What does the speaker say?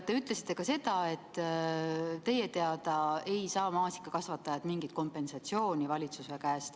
Te ütlesite ka seda, et teie teada ei saa maasikakasvatajad valitsuse käest mingit kompensatsiooni.